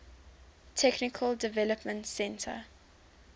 technical development center